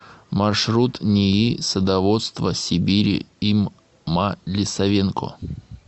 маршрут нии садоводства сибири им ма лисавенко